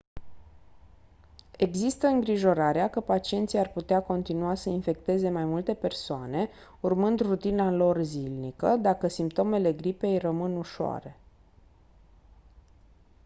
există îngrijorarea că pacienții ar putea continua să infecteze mai multe persoane urmând rutina lor zilnică dacă simptomele gripei rămân ușoare